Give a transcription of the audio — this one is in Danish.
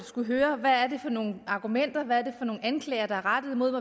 skulle høre hvad det er for nogle argumenter hvad det er for nogle anklager der er rettet mod